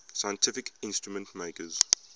scientific instrument makers